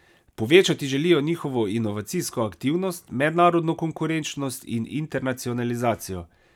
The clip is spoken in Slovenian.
Povečati želijo njihovo inovacijsko aktivnost, mednarodno konkurenčnost in internacionalizacijo.